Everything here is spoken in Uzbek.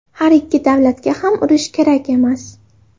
Har ikki davlatga ham urush kerak emas.